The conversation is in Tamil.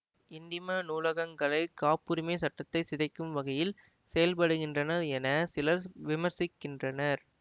எண்ணிம நூலகங்கள் காப்புரிமை சட்டத்தை சிதைக்கும் வகையில் செயல்படுகின்றன என சிலர் விமர்சிக்கின்றனர்